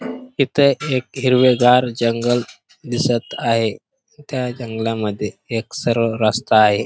इथे एक हिरवेगार जंगल दिसत आहे त्या जंगलामध्ये एक सरळ रस्ता आहे.